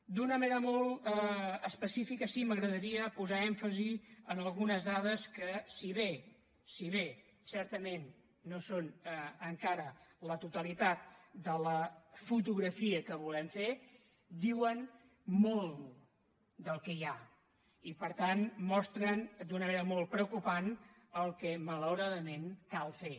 d’una manera molt específica sí que m’agradaria posar èmfasi en algunes dades que si bé si bé certament no són encara la totalitat de la fotografia que volem fer diuen molt del que hi ha i per tant mostren d’una manera molt preocupant el que malauradament cal fer